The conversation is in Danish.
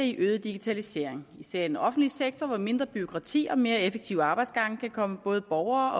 i øget digitalisering især i den offentlige sektor hvor mindre bureaukrati og mere effektive arbejdsgange kan komme både borgere